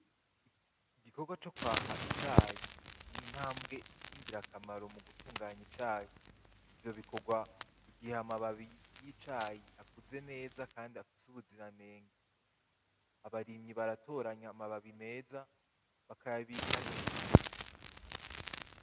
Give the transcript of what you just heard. Igikorwa co kwaha icayi ni intambwe y'ingirakamaro mu gutunganya icayi, ivyo bikorwa igihe amababi y'icayi akuze neza kandi afise ubuziranenge, abarimyi baratoranya amababi meza bakayabika neza.